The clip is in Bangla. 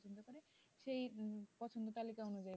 সেই পছন্দ তাহলে কেমন হবে,